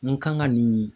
N kan ka nin